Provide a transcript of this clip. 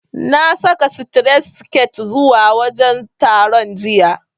Na saka sitiret siket zuwa wajen taron, jiya.